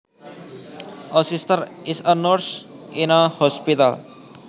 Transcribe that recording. A sister is a nurse in a hospital